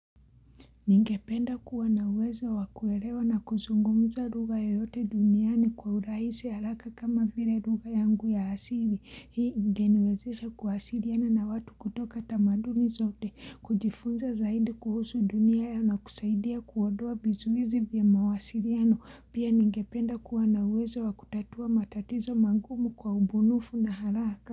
Ningependa kuwa na uwezo wakuerewa na kuzungumza lugha yoyote duniani kwa urahisi haraka kama vile lugha yangu ya asili. Hii ingeniwezesha kuawasiriana na watu kutoka tamaduni zote. Kujifunza zaidi kuhusu dunia ya na kusaidia kuondoa vizuizi vya mawasiriano. Pia ningependa kuwana uwezo wakutatua matatizo mangumu kwa ubunifu na haraka.